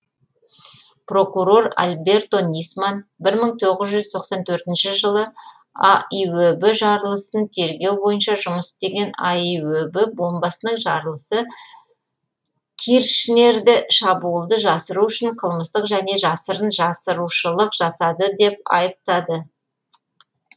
прокурор альберто нисман бір мың тоғыз жүз тоқсан төртінші жылы аиөб жарылысын тергеу бойынша жұмыс істеген аиөб бомбасының жарылысы киршнерді шабуылды жасыру үшін қылмыстық және жасырын жасырушылық жасады деп айыптады